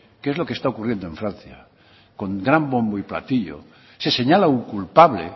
que es lo que está ocurriendo en francia con gran bombo y platillo se señala un culpable